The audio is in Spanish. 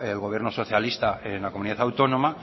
el gobierno socialista en la comunidad autónoma